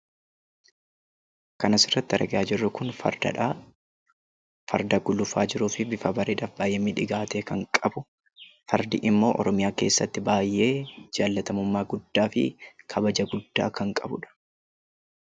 Kan asirratti argaa jirru kun fardadha. Farda gulufaa jiruu fi bifa bareedaaf baay'ee miidhagaa ta'e kan qabu; fardi immoo Oromiyaa keessatti baay'ee jaalatamummaa guddaa fi kabaja guddaa kan qabudha.